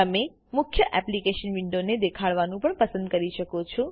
તમે મુખ્ય એપ્લીકેશન વિન્ડોને દેખાડવાનું પણ પસંદ કરી શકો છો